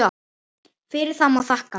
Fyrir það má þakka.